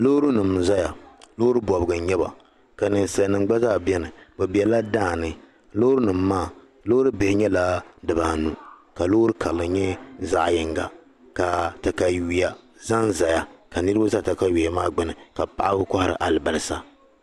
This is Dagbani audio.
loori nim n zaya loori bɔbigu n nyɛba ka ninsali nim gba zaa beni bɛ bela daani loori nim maa loori bihi nyɛla di baa anu ka loori karili nyɛ zaɣi yinga kaa takayuya zan zaya ka niriba za taka yiya maa gbuni ka paɣaba kohiri alibalisa